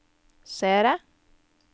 seere